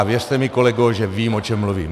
A věřte mi, kolego, že vím, o čem mluvím.